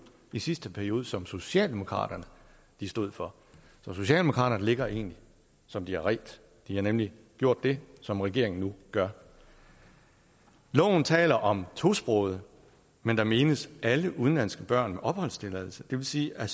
i sidste periode som socialdemokraterne stod for så socialdemokraterne ligger egentlig som de har redt de har nemlig gjort det som regeringen nu gør loven taler om tosprogede men der menes alle udenlandske børn med opholdstilladelse det vil sige at